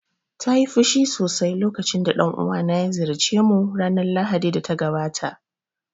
Ta yi fushi sosai lokacin da dan uwana ya ziyarce mu ranar Lahadi da ta gabata